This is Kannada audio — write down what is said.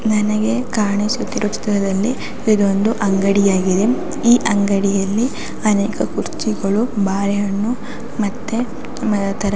ನನಗೆ ಕಾಣಿಸುತ್ತಿರುವ ಚಿತ್ರದಲ್ಲಿ ಇದೊಂದು ಅಂಗಡಿ ಆಗಿದೆ ಈ ಅಂಗಡಿಯಲ್ಲಿ ಅನೇಕ ಕುರ್ಚಿಗಳು ಬಾಳೆಹಣ್ಣು ಮತ್ತೆ .